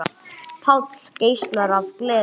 Páll geislar af gleði.